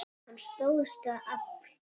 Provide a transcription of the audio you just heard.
Hann stóðst það afl.